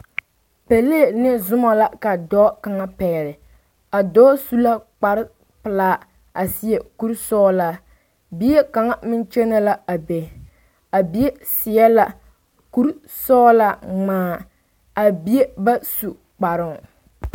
Pelee ne sommo la ka dɔɔ kaŋ pɛgele a dɔɔ su la kpar pelaa a seɛ kuri sɔgelaa bie kaŋa meŋ kyɛnɛ la a be a bie seɛ la kuri sɔgelaa ŋmaa a bie ba su kparoo